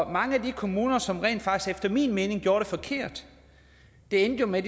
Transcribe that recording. mange af de kommuner som efter min mening rent faktisk gjorde det forkert endte jo med